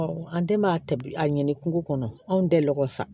an den maa ta bi a ɲini kungo kɔnɔ anw tɛ lɔgɔ sa